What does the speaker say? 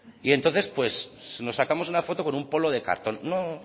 y entonces nos sacamos una foto con un polo de cartón no